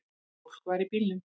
Fólk var í bílnum.